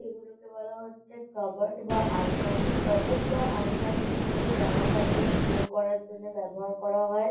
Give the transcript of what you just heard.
এগুলকে বলা হচ্ছে কোব্যাট বা আলমারি কোব্যাট বা আলমারি জামা কাপড় স্টোর করার জন্য ব্যবহার করা হয় ।